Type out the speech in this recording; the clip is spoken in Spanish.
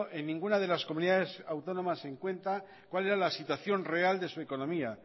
en ninguna de las comunidades autónomas en cuenta cuál erá la situación real de su economía